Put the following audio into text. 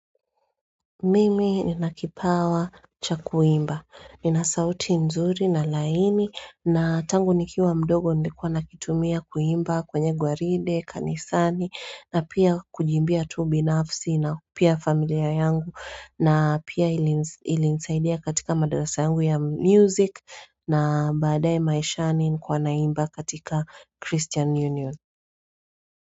Mimi ninakipawa cha kuimba. Nina sauti nzuri na laini na tangu nikiwa mdogo nilikuwa nakitumia kuimba kwenye gwaride, kanisani na pia kujiimbia tu binafsi na ku pia familia yangu na pia ilinisaidia katika madarasa yangu ya music na badae maishani nilikuwa naimba katika Christian Union.